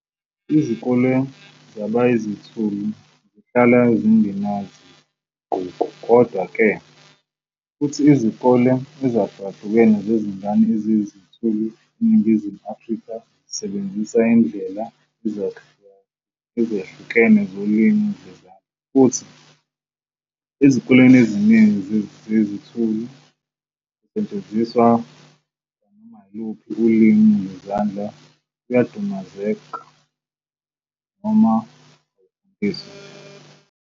Izikole zabayizithulu zihlala zingenazinguquko, kodwa-ke, futhi izikole ezahlukahlukene zezingane eziyizithulu eNingizimu Afrika zisasebenzisa izindlela ezehlukene zolimi lwezandla, futhi ezikoleni eziningi zezithulu ukusetshenziswa kwanoma yiluphi ulimi lwezandla kuyadumazeka noma akufundiswa nje.